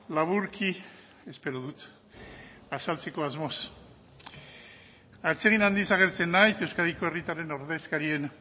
laburki espero dut azaltzeko asmoz atsegin handiz agertzen naiz euskadiko herritarren ordezkarien